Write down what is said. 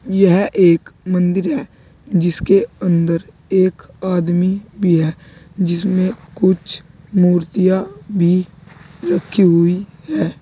यह एक मंदिर है जिसके अंदर एक आदमी भी है जिसमें कुछ मूर्तियां भी रखी हुई है।